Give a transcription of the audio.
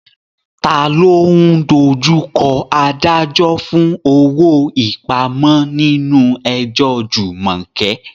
Ta ló ń dojú kọ adájọ́ fún owó ìpamọ́ nínú ẹjọ́ Jumoke?